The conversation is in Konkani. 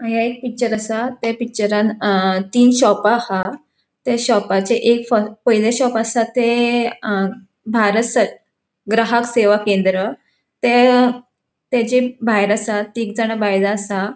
हांगा एक पिक्चर आसा. त्या पिक्चरान अ तीन शोपा आहा. त्या शॉपाचे एक पयले शॉप आसा ते अ भारत सर ग्राहक सेवा केंद्र ते तेचे भायर आसा. तीगजाणा बायला आसा.